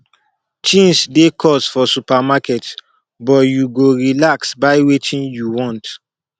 tins dey cost for supermarket but you go relax buy wetin you want